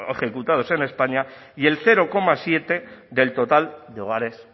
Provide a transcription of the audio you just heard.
ejecutados en españa y el cero coma siete por ciento del total de hogares